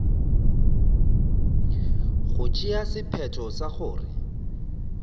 go tšea sephetho sa gore